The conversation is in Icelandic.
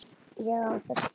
Ég á það skilið.